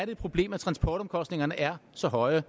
et problem at transportomkostningerne er så høje og